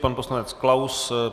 Pan poslanec Klaus.